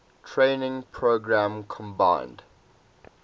training program combined